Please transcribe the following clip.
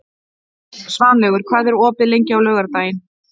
Svanlaugur, hvað er opið lengi á laugardaginn?